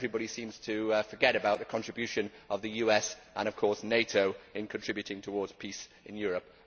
Everybody seems to forget about the contribution of the US, and, of course, NATO, in contributing towards peace in Europe.